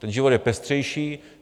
Ten život je pestřejší.